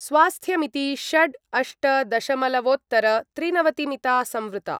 स्वास्थ्यमिति षड् अष्ट दशमलवोत्तरत्रिनवतिमिता संवृत्ता।